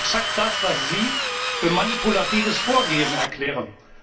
Das ist exakt das, was Sie für manipulatives Vorgehen erklären.